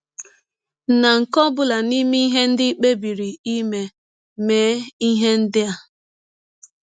Na nke ọ bụla n’ime ihe ndị i kpebiri ime, mee ihe ndị a: